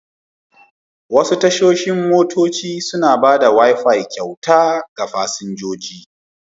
Wasu tashar motoci suna ba da wifi kyauta ga fasinjoji.